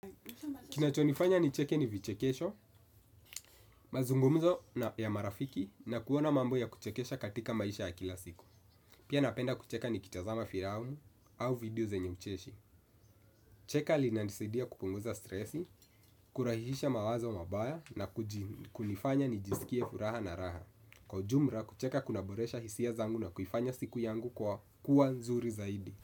Kinachonifanya nicheke ni vichekesho, mazungumzo ya marafiki na kuona mambo ya kuchekesha katika maisha ya kila siku. Pia napenda kucheka nikitazama filamu au video zenye ucheshi. Cheka linanisidia kupunguza stresi, kurahisisha mawazo mabaya na kunifanya nijisikie furaha na raha. Kwa ujumla, kucheka kunaboresha hisia zangu na kuifanya siku yangu kwa kuwa nzuri zaidi.